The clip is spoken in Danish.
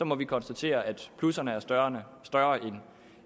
må vi konstatere at plusserne er større